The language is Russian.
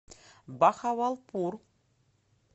бахавалпур